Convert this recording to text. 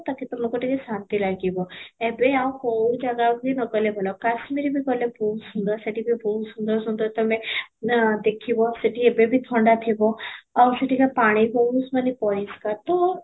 ତାକି ତମକୁ ଟିକେ ଶାନ୍ତି ଲାଗିବ ଏବେ ଆଉ କଉ ଜାଗା ବି ନ ଗଲେ ଭଲ କାଶ୍ମୀର ବି ଗଲେ ବହୁତ ସୁନ୍ଦର ସେଠି ବି ବହୁତ ସୁନ୍ଦର ସୁନ୍ଦର ତୋମେ ନା ଦେଖିବ ସେଠି ଏବେ ବି ଥଣ୍ଡା ଥିବ ଆଉ ସେଠିକା ପାଣି ବହୁତ ମାନେ